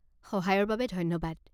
সহায়ৰ বাবে ধন্যবাদ।